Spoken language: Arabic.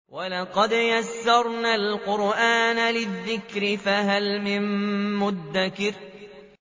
وَلَقَدْ يَسَّرْنَا الْقُرْآنَ لِلذِّكْرِ فَهَلْ مِن مُّدَّكِرٍ